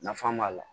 Nafa b'a la